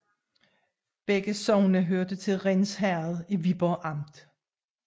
Begge sogne hørte til Rinds Herred i Viborg Amt